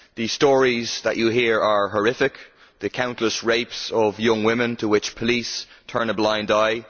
The stories that you hear are horrific the countless rapes of young women to which police turn a blind eye